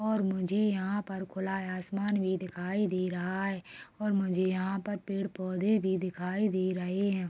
और मुझे यहाँ पर खुला आसमान दिखाई दे रहा हैं और मुझे यहाँ पर पेड़-पौधे भी दिखाई दे रहे हैं।